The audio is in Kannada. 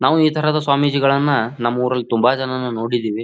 ನಾವು ಈ ತರದ ಸ್ವಾಮೀಜಿಗಳನ್ನ ನಮ್ ಊರಲ್ಲಿ ತುಂಬಾ ಜನನ ನೋಡಿದ್ದೀವಿ.